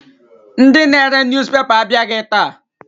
Ndị na-ere newspaper abịaghị taa.